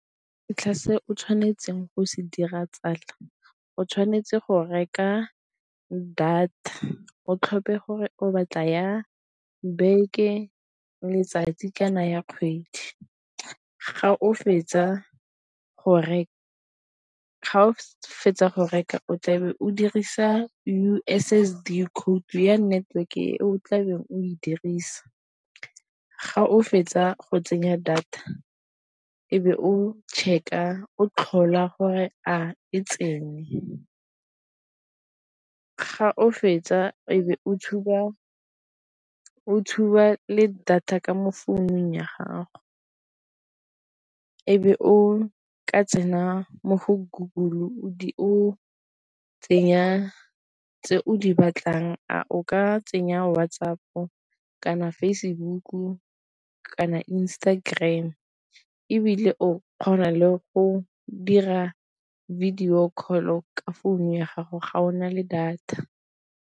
se o tshwanetseng go se dira tsala, o tshwanetse go reka data o tlhophe gore o batla ya beke, letsatsi kana ya kgwedi. Ga o fetsa go reka o tla be o dirisa U_S_S_D code ya network e o tlabeng o e dirisa, ga o fetsa go tsenya data e be o o tlhola gore a e tsenye, ga o fetsa e be o tshuba le data ka mo founung ya gago, e be o ka tsena mo go Goggle o tsenya tse o di batlang a o ka tsenya WhatsApp-o, kana Facebook-u, kana Instagram ebile o kgona le go dira video call-o ka founu ya gago ga o na le data.